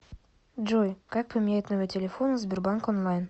джой как поменять номер телефона в сбербанк онлайн